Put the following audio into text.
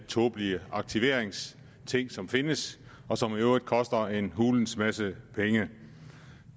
tåbelige aktiveringsting som findes og som i øvrigt koster en hulens masse penge